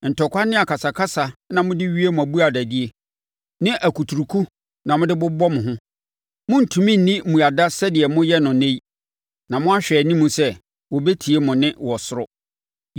Ntɔkwa ne akasakasa na mode wie mo abuadadie, ne akuturuku a mode bobɔ mo ho. Morentumi nni mmuada sɛdeɛ moyɛ no ɛnnɛ yi na moahwɛ anim sɛ wɔbɛte mo nne wɔ soro.